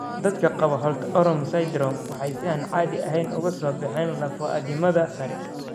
Dadka qaba Holt Oram syndrome waxay si aan caadi ahayn uga soo baxeen lafo addimada sare.